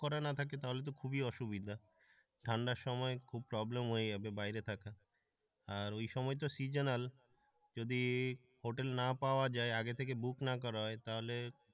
করা না থাকে তাহলে তো খুবই অসুবিধা ঠান্ডার সময় খুব প্রবলেম হয়ে যাবে বাইরে থাকো আর ওই সময় তো seasonal যদি হোটেল না পাওয়া যায় আগে থেকে বুক না করা হয় তাহলে,